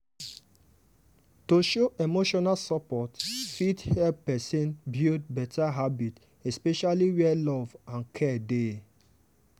to show emotional support fit help person build better habit especially where love and care dey.